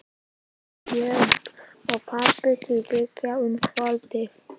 Björg og pabbi til Bigga um kvöldið.